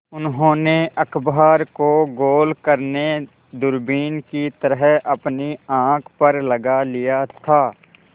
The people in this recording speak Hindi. उन्होंने अखबार को गोल करने दूरबीन की तरह अपनी आँख पर लगा लिया था